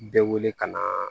Bɛɛ wele ka na